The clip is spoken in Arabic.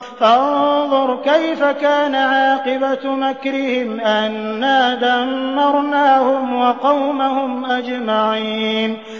فَانظُرْ كَيْفَ كَانَ عَاقِبَةُ مَكْرِهِمْ أَنَّا دَمَّرْنَاهُمْ وَقَوْمَهُمْ أَجْمَعِينَ